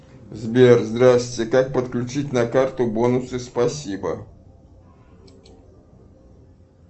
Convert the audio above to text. сбер здрасьте как подключить на карту бонусы спасибо